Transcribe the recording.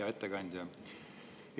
Hea ettekandja!